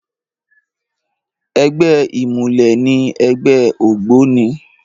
Ègbè imúlè ni ègbè ógbóni